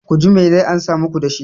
ku ji me zai amsa muku da shi?